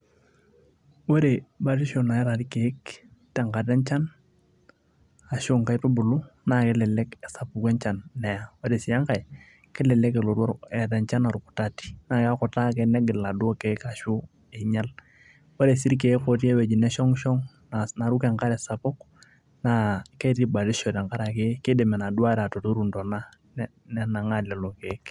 ore batisho naata irkeek tenkata enchan ashu inkaitubulu naa kelelek esapuku enchan neya ore sii enkae kelelek elotu, eeta enchan orkutati naa kekutaa ake negil iladuo keek ashu einyial ore sii irkeek otii ewueji neshong'ishong naruko enkare sapuk naa ketii batisho tenkarake keidim enaduo are atuturu intona nenang'aa lelo keek.